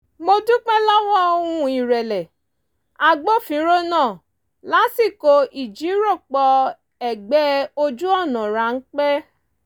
mo dúpẹ́ lọ́wọ́ ohùn ìrẹ̀lẹ̀ agbófinró náà lásìkò ìjíròròpọ̀ ẹ̀gbẹ́ ojú ọ̀nà ráńpẹ́